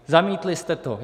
Zamítli jste to.